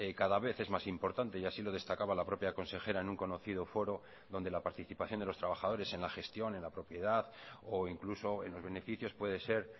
cada vez es más importante y así lo destacaba la propia consejera en un conocido foro donde la participación de los trabajadores en la gestión en la propiedad o incluso en los beneficios puede ser